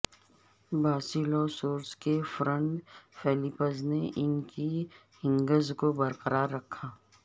Basilosaurus کے front flippers نے ان کی ہنگز کو برقرار رکھا